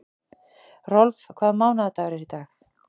Rolf, hvaða mánaðardagur er í dag?